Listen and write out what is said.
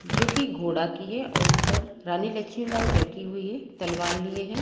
जो कि घोडा की है और ऊपर रानी लक्ष्मीबाई बैठी हुई है तलवार लिए है।